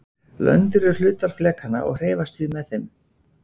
Löndin eru hlutar flekanna og hreyfast því með þeim.